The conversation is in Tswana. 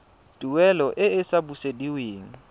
tuelo e e sa busediweng